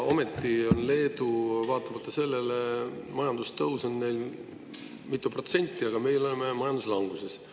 Ometi on Leedul vaatamata sellele majandustõus mitu protsenti, aga meil on majandus languses.